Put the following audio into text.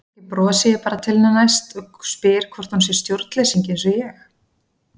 Kannski brosi ég bara til hennar næst og spyr hvort hún sé stjórnleysingi einsog ég.